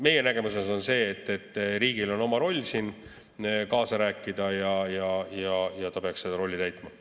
Meie nägemus on see, et riigil on siin oma roll kaasa rääkida ja ta peaks seda rolli täitma.